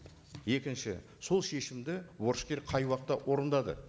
екінші сол шешімді борышкер қай уақытта орындады